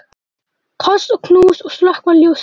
Koss og knús og slökkva ljósið.